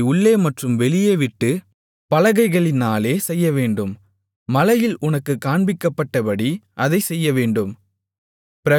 அதை உள்ளே மற்றும் வெளியேவிட்டுப் பலகைகளினாலே செய்யவேண்டும் மலையில் உனக்குக் காண்பிக்கப்பட்டபடி அதைச் செய்யவேண்டும்